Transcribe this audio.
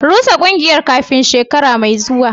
Rusa kungiyar kafin shekara mai zuwa